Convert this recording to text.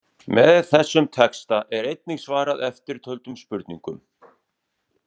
Með þessum texta er einnig svarað eftirtöldum spurningum